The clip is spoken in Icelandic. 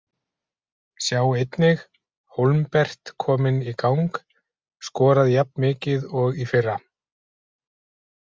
Sjá einnig: Hólmbert kominn í gang- Skorað jafnmikið og í fyrra